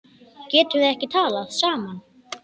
Getum við ekki talað saman?